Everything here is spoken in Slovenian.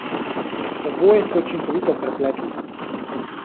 Oboje ste učinkovito prepletli.